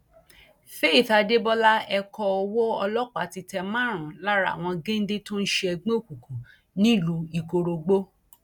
faith adébọlá ẹkọ owó ọlọpá ti tẹ márùnún lára àwọn géńdé tó ń ṣe ẹgbẹ òkùnkùn nílùú ikorógbó